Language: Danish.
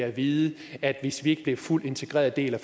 at vide at vi hvis vi en fuldt integreret del i